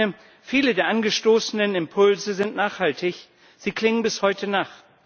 Und ich meine, viele der angestoßenen Impulse sind nachhaltig, sie klingen bis heute nach.